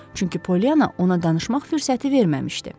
Çünki Polyana ona danışmaq fürsəti verməmişdi.